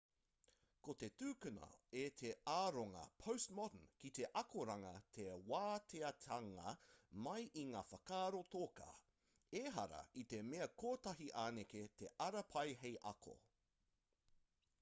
kei te tukuna e te aronga postmodern ki te akoranga te wāteatanga mai i ngā whakaaro toka ehara i te mea kotahi anake te ara pai hei ako